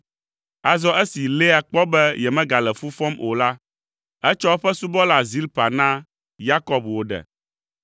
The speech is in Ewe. Azɔ esi Lea kpɔ be yemegale fu fɔm o la, etsɔ eƒe subɔla Zilpa na Yakob wòɖe.